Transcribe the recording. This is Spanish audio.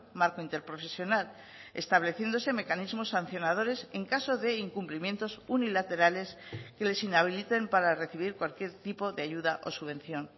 marco interprofesional estableciéndose mecanismos sancionadores en caso de incumplimientos unilaterales que les inhabiliten para recibir cualquier tipo de ayuda o subvención